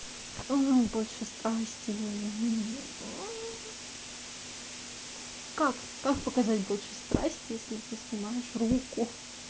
мм больше страсти мм как как показать больше страсти если ты снимаешь руку